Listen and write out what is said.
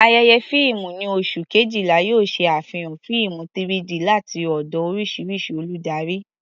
Ayẹyẹ fíìmù ní oṣù Kejìlá yóò ṣe àfihàn fíìmù 3-D láti ọ̀dọ̀ oríṣiríṣi olùdarí.